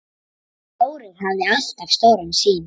Þórir hafði alltaf stóra sýn.